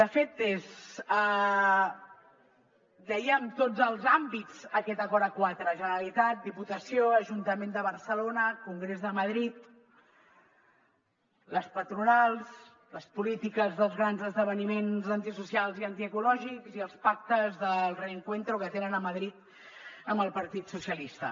són el sottogovernoàmbits aquest acord a quatre generalitat diputació ajuntament de barcelona congrés de madrid les patronals les polítiques dels grans esdeveniments antisocials i antiecològics i els pactes del reencuentro que tenen a madrid amb el partit socialista